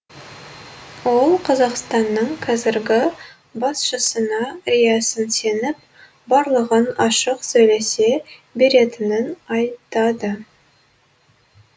ол қазақстанның қазіргі басшысына риясыз сеніп барлығын ашық сөйлесе беретінін айтады